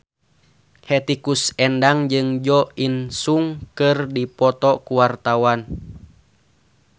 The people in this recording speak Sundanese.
Hetty Koes Endang jeung Jo In Sung keur dipoto ku wartawan